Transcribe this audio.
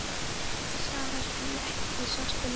Þjóðverja einhvers staðar þar sem ekki sást til ykkar?